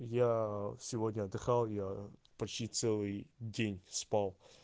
я сегодня отдыхал я почти целый день спал